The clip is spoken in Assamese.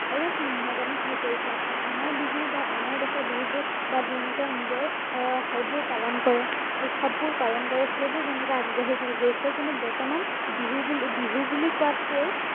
অলপ নিম্নগামী হৈ পৰিছে আ আনৰ বিহু বা আনৰ দেশৰ বিহুবোৰ বা তেওঁলোকৰ নিজৰ আহ উৎসৱবোৰ পালন কৰে উৎসৱবোৰ পালন কৰে সেইবোৰ যেনেকে আগবাঢ়ি গৈছে কিন্তু বৰ্তমান বিহু বুলি বিহু বুলি কোৱাতকেও